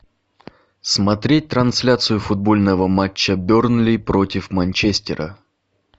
смотреть трансляцию футбольного матча бернли против манчестера